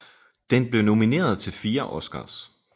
Den blev nomineret til fire Oscars